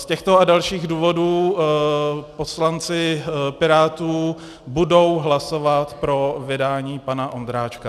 Z těchto a dalších důvodů poslanci Pirátů budou hlasovat pro vydání pana Ondráčka.